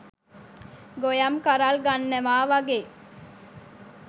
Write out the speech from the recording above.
ගොයම් කරල් ගන්නවා වගේ.